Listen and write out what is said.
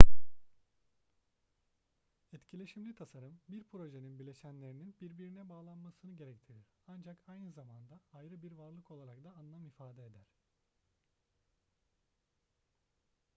etkileşimli tasarım bir projenin bileşenlerinin birbirine bağlanmasını gerektirir ancak aynı zamanda ayrı bir varlık olarak da anlam ifade eder